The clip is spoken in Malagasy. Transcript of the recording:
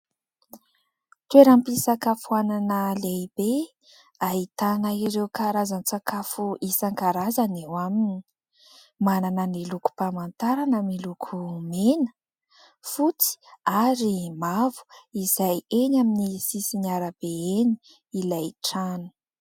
Toeram-pisakafoanana lehibe ahitana ireo karazan-tsakafo isankarazany eo aminy. Manana ny lokom-pamantarana miloko mena, fotsy ary mavo izay eny amin'ny sisin'ny arabe eny ilay trano.